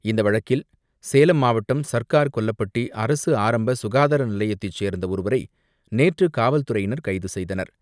இந்த வழக்கில் சேலம் மாவட்டம் சர்க்கார் கொல்லப்பட்டி அரசு ஆரம்ப சுகாதார நிலையத்தை சேர்ந்த ஒருவரை நேற்று காவல்துறையினர் கைது செய்தனர்.